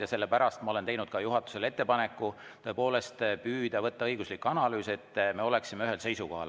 Ja sellepärast ma olen teinud juhatusele ettepaneku võtta ette õiguslik analüüs, et me oleksime ühel seisukohal.